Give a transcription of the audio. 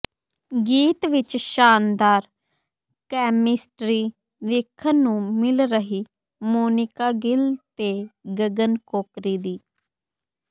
ਗੀਤ ਵਿਚ ਸ਼ਾਨਦਾਰ ਕੈਮਿਸਟਰੀ ਵੇਖਣ ਨੂੰ ਮਿਲ ਰਹੀ ਮੋਨਿਕਾ ਗਿੱਲ ਤੇ ਗਗਨ ਕੋਕਰੀ ਦੀ